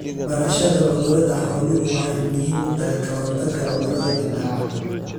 Barashada cudurrada xooluhu waxay muhiim u tahay ka hortagga cudurrada dillaaca.